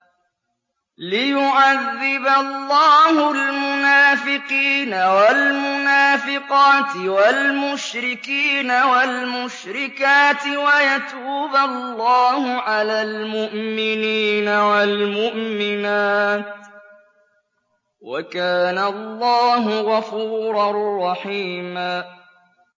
لِّيُعَذِّبَ اللَّهُ الْمُنَافِقِينَ وَالْمُنَافِقَاتِ وَالْمُشْرِكِينَ وَالْمُشْرِكَاتِ وَيَتُوبَ اللَّهُ عَلَى الْمُؤْمِنِينَ وَالْمُؤْمِنَاتِ ۗ وَكَانَ اللَّهُ غَفُورًا رَّحِيمًا